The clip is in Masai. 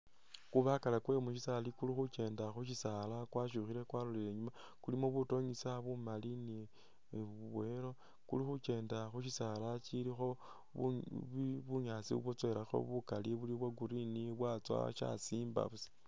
Kubakala kwe mushisaali kuli khukyenda khu shisaala kwashukhile kwalolele inyuma kulimo butonyesa bumali ni bwa yellow, kuli khu kyenda khu shisaala shilikho bu bunyaasi obwa tsowelakho bukali buli bwa green bwa tsowa sha shimba busa.